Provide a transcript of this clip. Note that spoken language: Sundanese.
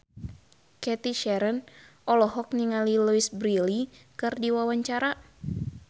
Cathy Sharon olohok ningali Louise Brealey keur diwawancara